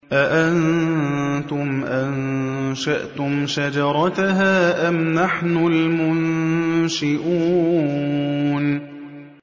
أَأَنتُمْ أَنشَأْتُمْ شَجَرَتَهَا أَمْ نَحْنُ الْمُنشِئُونَ